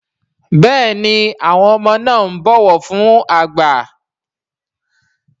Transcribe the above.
Béèni àwọn ọmọ na ń bó ọwọ fún àgbà.